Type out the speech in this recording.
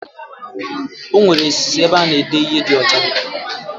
Enwere osis ebe ana ede ihe di ocha.